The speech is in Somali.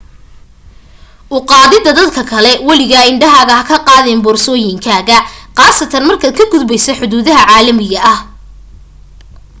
u qaadida dadka kale waligaa indhahaaga ha ka qaadin boorsooyinkaaga qaasatan markaad ka gudbayso xuduudaha caalamiga ah